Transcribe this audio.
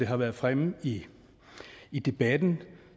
har været fremme i i debatten